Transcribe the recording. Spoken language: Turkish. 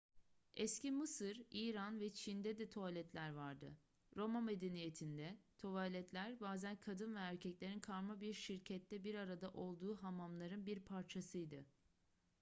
eski mısır i̇ran ve çin'de de tuvaletler vardı. roma medeniyetinde tuvaletler bazen kadın ve erkeklerin karma bir şirkette bir arada olduğu hamamların bir parçasıydı